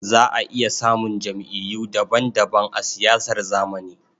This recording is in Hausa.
Za a iya samun jam'iyyu daban-daban a siyasar zamani.